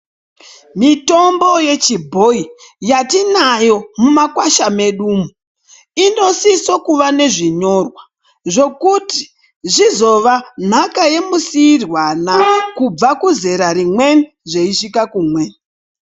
Mitombo yechibhoyi yatinayo mumakwasha medumwo inosiso kuva nezvinyorwa, zvokuti zvizova nhaka yemusiirwana kubva kuzera rimweni zveisvika kumweni.